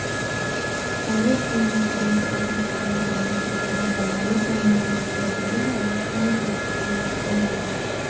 жарылыс ұйымдастырмақ болған алайда намаз оқитын залға өте алмаған куәгерлер жарылыс соңы атысқа ұласқан дейді